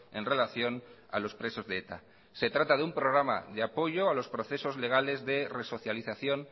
en relación a los presos de eta se trata de un programa de apoyo a los procesos legales de resocialización